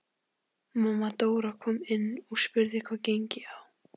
Mamma Dóra kom inn og spurði hvað gengi á.